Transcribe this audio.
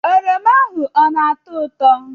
oroma ahụ ọ na-atọ ụtọ?